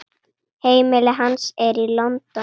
Heimili hans er í London.